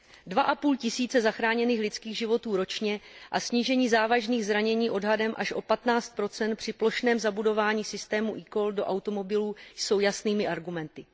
Dva a půl tisíce zachráněných lidských životů ročně a snížení závažných zranění odhadem až o 15 při plošném zabudování systému eCall do automobilů jsou jasnými argumenty.